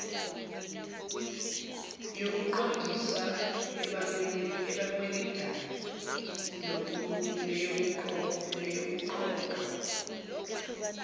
yokuqondisa abakweletayo neyokuqoqwa